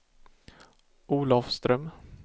Olafström